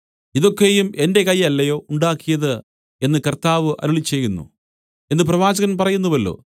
ഇതൊക്കെയും എന്റെ കൈ അല്ലയോ ഉണ്ടാക്കിയത് എന്ന് കർത്താവ് അരുളിച്ചെയ്യുന്നു എന്നു പ്രവാചകൻ പറയുന്നുവല്ലോ